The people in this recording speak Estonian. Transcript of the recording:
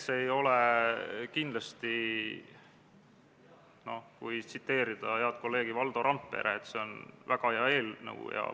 Sellel istungil kiitis riigikaitsekomisjon konsensuslikult heaks eelnõu teise lugemise teksti ja seletuskirja.